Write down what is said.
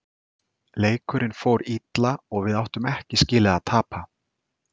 Leikurinn fór illa og við áttum ekki skilið að tapa.